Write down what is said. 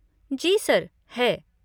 जी sir, है।